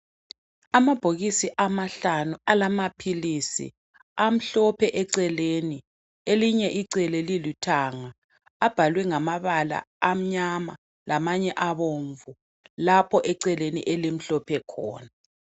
Amabhokisi amahlanu alamaphilisi, amhlophe eceleni elinye icele lilithanga abhalwe ngamabala amnyama lamanye abomvu lapho eceleni elimhlophe khona.